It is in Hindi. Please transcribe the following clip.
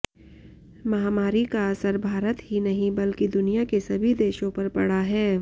महामारी का असर भारत ही नहीं बल्कि दुनिया के सभी देशों पर पड़ा है